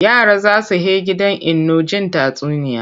Yara za su he gidan Inno jin tatsuniya.